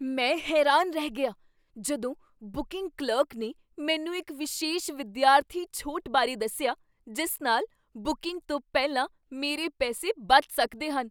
ਮੈਂ ਹੈਰਾਨ ਰਹਿ ਗਿਆ ਜਦੋਂ ਬੁਕਿੰਗ ਕਲਰਕ ਨੇ ਮੈਨੂੰ ਇੱਕ ਵਿਸ਼ੇਸ਼ ਵਿਦਿਆਰਥੀ ਛੋਟ ਬਾਰੇ ਦੱਸਿਆ ਜਿਸ ਨਾਲ ਬੁਕਿੰਗ ਤੋਂ ਪਹਿਲਾਂ ਮੇਰੇ ਪੈਸੇ ਬਚ ਸਕਦੇ ਸਨ।